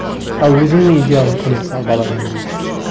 ал өзіңнің идеалың кім мысалы бала күніңдегі